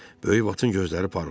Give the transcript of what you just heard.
Böyük Vatın gözləri parladı.